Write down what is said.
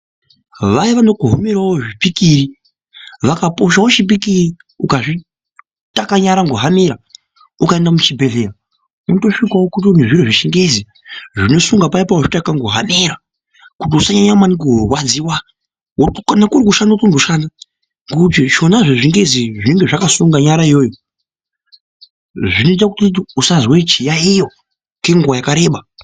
Vaya vanokohomerawo zvipikiri vakaposhawo chipikiri ukazvitakanyara ngehamera ukaenda muchibhedhlera utosvikawo kune zviro zvechingezi zvinosunga paye pawazvitaka ngehamera kuti usanyanya maningi kurwadziwa kana kuri kushanda wotomboshanda ngekuti zvona zvechingezi zvinenge zvakasunga nyara iyoyo zvinoita kuti usazwe chiyayiyo kwenguwa yakareba.